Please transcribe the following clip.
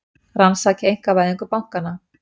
Rannsaki einkavæðingu bankanna